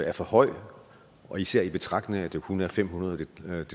er for høj især i betragtning af at det kun er fem hundrede det